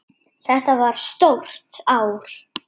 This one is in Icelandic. Þetta var stórt ár.